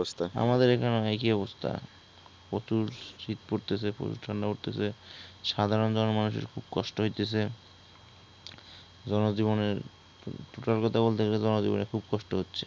আমাদের এইখানেও একই অবস্থা । প্রচুর শীত পড়তেসে প্রচুর ঠান্ডা পড়তেসে । সাধার মানুষজনের খুব কষ্ট হইতেছে জনজীবনের অবস্থার কথা বলতে গেলে, জনজীবনের খুব কষ্ট হচ্ছে